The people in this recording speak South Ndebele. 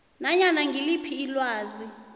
nanyana ngiliphi ilwazi